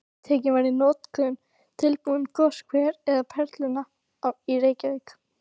Tekinn var í notkun tilbúinn goshver við Perluna í Reykjavík.